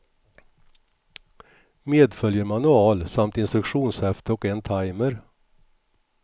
Medföljer manual samt instruktionshäfte och en timer.